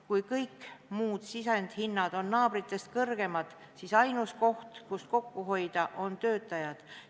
Kui kõik muud sisendhinnad on naabrite omadest kõrgemad, siis ainus koht, kust kokku hoida, on töötajad.